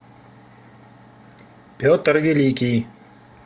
петр великий